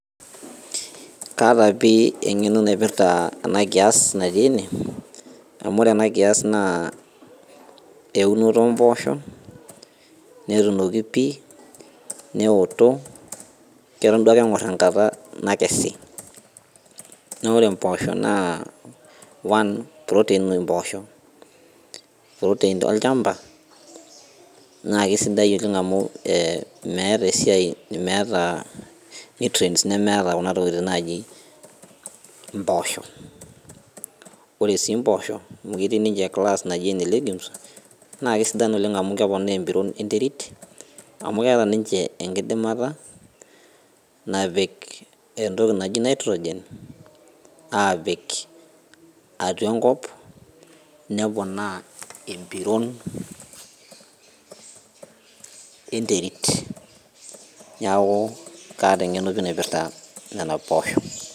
Kaata eng'eno naipirta ena kias natii ene amu ore ana kias naa eunoto oo mboshok nemoto pii keton ake eng'or enkata naakesi naa ore one naa proteins oshi mboshok teina olchamba naa kisidai oleng amu meeta esiai nutriest nemeeta Kuna tokitin naaji mboshok ore mboshok amu ketii ninche class najii ene legumes naa kisidai amu keponaa emipron enterit amu keeta ninche enkidimata napik entoki naaji nitrogen apik atua enkop neponaa empiron enterit neeku kaata piii eng'eno naipirta Nena poshok